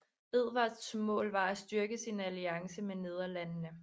Edvards mål var at styrke sin alliance med Nederlandene